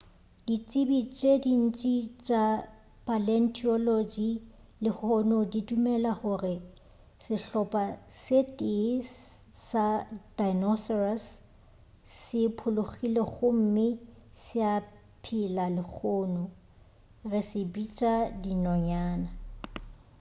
ditsebi tše dintši tša paleontology lehono di dumela gore sehlopha se tee sa di-dinosaurs se phologile gomme se a phela lehono re se bitša dinonyana